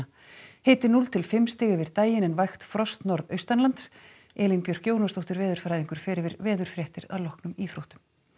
hiti núll til fimm stig yfir daginn en vægt frost norðaustanlands Elín Björk Jónasdóttir veðurfræðingur fer með veðurfréttir að loknum íþróttum